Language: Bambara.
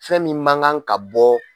Fɛn min man kan ka bɔ